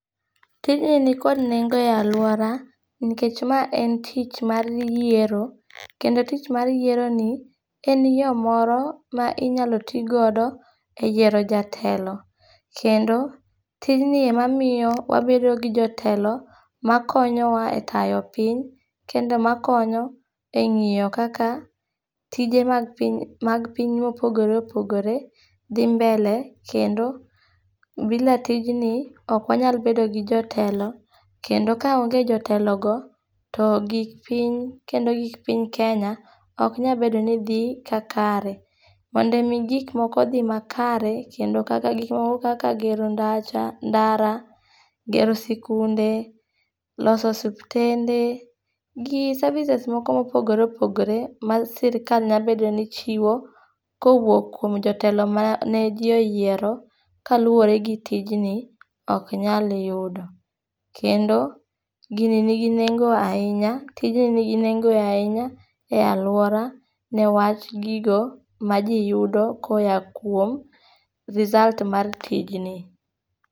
Tijni nikod nengo e alwora, nikech mae en tich, mar yiero. Kendo tich mar yieroni, en yo moro ma inyalo tii godo e yiero jatelo. Kendo tijni emamiyo wabedo gi jotelo, makonyowa e tayo piny, kendo makonyo, e ngíyo kaka tije mag piny, mag piny mopogore opogore dhi mbele kendo bila tijni, okwanyal bedo gi jotelo. Kendo ka onge jotelogo, to gik piny, kendo gik piny kenya, oknyal bedo ni dhi ka kare. Mondo omi gik moko odhi ma kare, kendo kaka, gik moko, kaka gero ndacha, ndara, gero sikunde, loso suptende, gi services moko mopogore opogore, ma sirkal nyalo bedo ni chiwo, kowuok kuom jotelo mane ji oyero, ka luwore gi tijni, ok nyal yudo. Kendo, gini nigi nengo ahinya, tijni nigi nengo ahinya, e alwora, ne wach gigo ma ji yudo koya kuom result mar tijni.